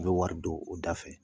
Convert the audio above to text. N bɛ wari don o da fɛ.